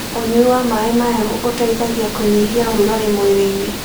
Ũnyũĩ wa mae mahehũ ũteĩthagĩa kũnyĩhĩa ũrũgarĩ mwĩrĩĩnĩ